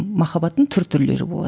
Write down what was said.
махаббаттың түр түрлері болады